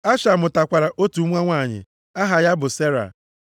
Asha mụtakwara otu nwa nwanyị aha ya bụ Sera.